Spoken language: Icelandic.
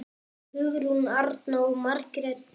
Hugrún Arna og Margrét Dögg.